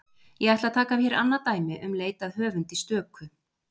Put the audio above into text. Ég ætla að taka hér annað dæmi um leit að höfundi stöku.